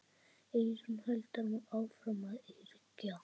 Eyrún heldur áfram að yrkja.